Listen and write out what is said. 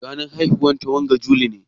Ranar haihuwar ta wanga juli ne?